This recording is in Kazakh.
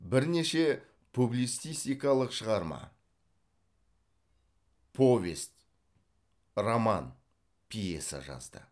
бірнеше публицистикалық шығарма повест роман пьеса жазды